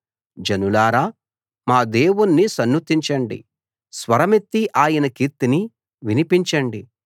జనాల్లారా మా దేవుణ్ణి సన్నుతించండి స్వరమెత్తి ఆయన కీర్తిని వినిపించండి